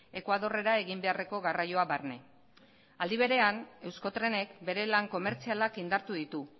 ekuadorrera egin beharreko garraioa barne aldi berean euskotrenek bere lan komertzialak indartu ditu